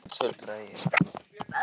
Ég finn ekkert, tuldraði ég.